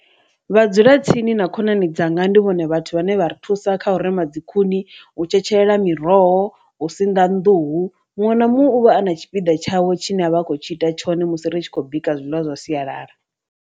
Vhadzulatsini na khonani dzanga ndi vhone vhathu vhane vha ri thusa kha u rema dzi khuni, u tshetshelela miroho, u sinḓa nḓuhu muṅwe na muṅwe u vha a na tshipiḓa tshawe tshi ne a vha a khou tshi ita tshone musi ri tshi khou bika zwiḽiwa zwa sialala.